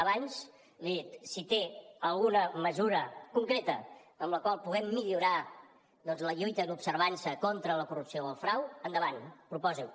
abans li he dit si té alguna mesura concreta amb la qual puguem millorar doncs la lluita i l’observança contra la corrupció o el frau endavant proposi ho